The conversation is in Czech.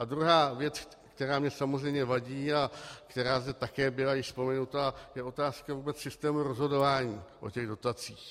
A druhá věc, která mi samozřejmě vadí a která zde také byla již vzpomenuta, je otázka vůbec systému rozhodování o těch dotacích.